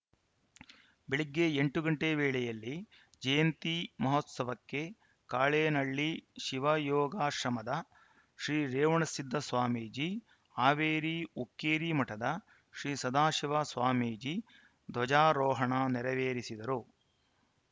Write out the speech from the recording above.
ಬೆಳಗ್ಗೆ ಎಂಟು ಗಂಟೆ ವೇಳೆಯಲ್ಲಿ ಜಯಂತಿ ಮಹೋತ್ಸವಕ್ಕೆ ಕಾಳೇನಳ್ಳಿ ಶಿವಯೋಗಾಶ್ರಮದ ಶ್ರೀ ರೇವಣಸಿದ್ದ ಸ್ವಾಮೀಜಿ ಹಾವೇರಿ ಹುಕ್ಕೇರಿ ಮಠದ ಶ್ರೀ ಸದಾಶಿವ ಸ್ವಾಮೀಜಿಧ್ವಜಾರೋಹಣ ನೆರವೇರಿಸಿದರು